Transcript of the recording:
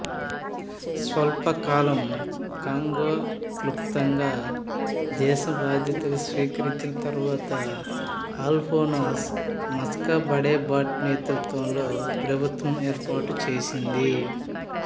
స్వల్పకాలం Congo క్లుప్తంగా దేశం బాధ్యతలు స్వీకరించిన తరువాత ఆల్ఫోన్స్ మస్సాబాడెబాట్ నేతృత్వంలోని ప్రభుత్వం ఏర్పాటు చేసింది